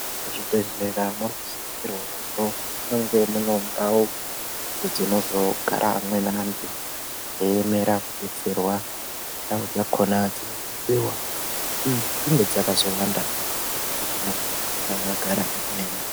Muzvibhedhleya munosisirwa kuzi mune ndau dzinozogara amweni antu ayiemerankudetserwa. Ndau dzakohona dzinofanira kunge dzakawanda kuti vantu asagara akaema.